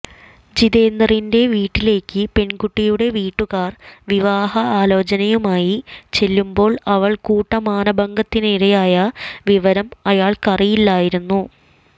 ജിതേന്ദറിന്റെ വീട്ടിലേക്ക് പെൺകുട്ടിയുടെ വീട്ടുകാർ വിവാഹ ആചോലനയുമായി ചെല്ലുന്പോൾ അവൾ കൂട്ടമാനഭംഗത്തിനിരയായ വിവരം അയാൾക്കറിയില്ലായിരുന്നു